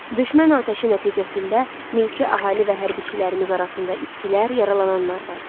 Düşmən atəşi nəticəsində mülki əhali və hərbiçilərimiz arasında itkilər, yaralananlar var.